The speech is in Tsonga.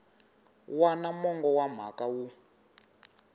wana mongo wa mhaka wu